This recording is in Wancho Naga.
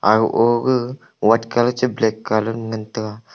aga oa ga white colour che black colour ngan taga.